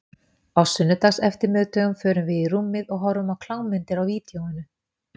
Á sunnudagseftirmiðdögum förum við í rúmið og horfum á klámmyndir á vídeóinu.